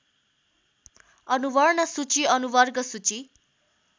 अनुवर्णसूची अनुवर्गसूची